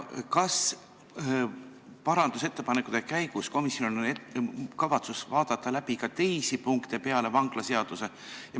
Kas parandusettepanekute menetlemise käigus on komisjonil kavatsus vaadata läbi ka teisi punkte peale vangistusseaduse?